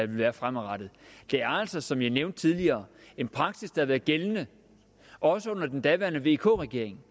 være fremadrettet det er altså som jeg har nævnt tidligere en praksis der har været gældende også under den daværende vk regering